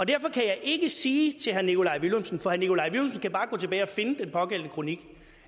derfor kan jeg ikke sige til herre nikolaj villumsen for herre nikolaj villumsen kan bare gå tilbage og finde den pågældende kronik